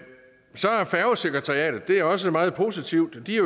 færgesekretariatet det er også meget positivt i